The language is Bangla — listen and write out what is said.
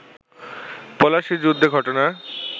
পলাশির যুদ্ধে ঘটনা